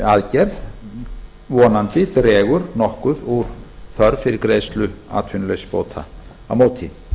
aðgerð vonandi dregur nokkur úr þörf fyrir greiðslu atvinnuleysisbóta á móti